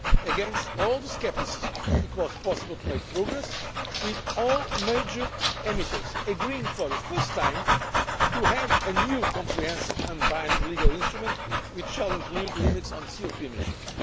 in spite of all the scepticism it was possible to make progress, with all major emitters agreeing for the first time to have a new comprehensive and binding legal instrument, which will include limits on CO 2 emissions.